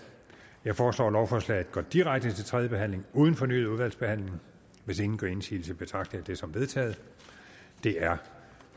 jeg foreslår at lovforslaget går direkte til tredje behandling uden fornyet udvalgsbehandling hvis ingen gør indsigelse betragter jeg det som vedtaget det er